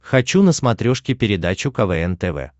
хочу на смотрешке передачу квн тв